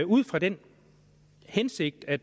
ud fra den hensigt at